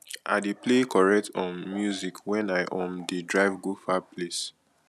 i dey play correct um music wen i um dey drive go far place